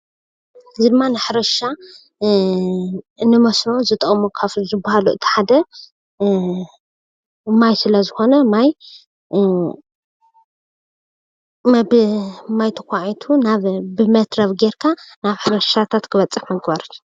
እዚ ድማ ንሕርሻን መስኖ ካብ ዝጠቅሙ እቲ ሓደ ማይ ስለዝኮነ እቲ ሓደ ማይስለዝኮነ ማይ ተካዒቱ ብሌቸር ናብ ሕርሻታት ክበፅሑ ምግባር እዩ፡፡